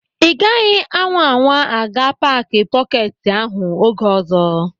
Ị gaghị anwa anwa a ga-paaki pọketi ahụ oge ọzọ.